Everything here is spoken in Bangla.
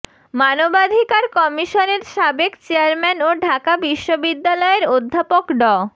মানবাধিকার কমিশনের সাবেক চেয়ারম্যান ও ঢাকা বিশ্ববিদ্যালয়ের অধ্যাপক ড